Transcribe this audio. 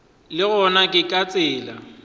le gona ke ka tsela